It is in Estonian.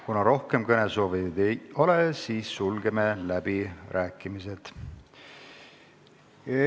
Kuna rohkem kõnesoovijaid ei ole, siis sulgen läbirääkimised.